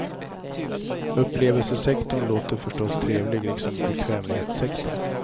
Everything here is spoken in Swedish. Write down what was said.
Upplevelsesektorn låter förstås trevlig, liksom bekvämlighetssektorn.